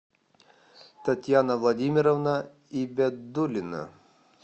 татьяна владимировна ибядуллина